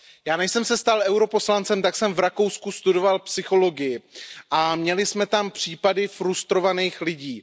Já, než jsem se stal europoslancem, jsem v Rakousku studoval psychologii a měli jsme tam případy frustrovaných lidí.